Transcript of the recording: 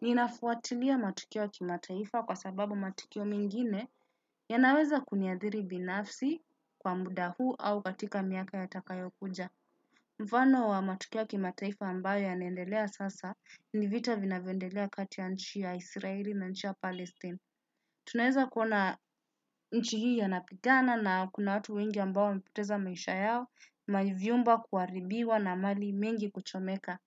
Ninafuatilia matukio wa kimataifa kwa sababu matukio mengine yanaweza kuniadhiri binafsi kwa muda huu au katika miaka yatakayo kuja. Mfano wa matukio ya kimataifa ambayo yanaendelea sasa ni vita vinavyoendelea kati ya nchi ya israeli na nchi ya palestine. Tunaweza kuona nchi hii ya napigana na kuna watu wengi ambao wamepoteza maisha yao, mavyumba kuharibiwa na mali mingi kuchomeka.